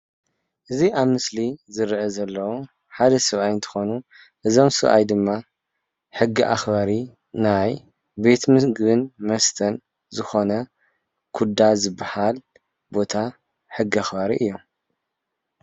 እዚ ኣብ ምስሊ ዝርአ ዘሎ ሓደ ሰበኣይ እትኮኑ እዞም ሰባኣይ ድማ ሕጊ ኣኽባሪ ናይ ቤት ምግብን መስተ ዝኾነ ኩዳ ዝባሃል ቦታ ሕጊ ኣኽባሪ እዮም።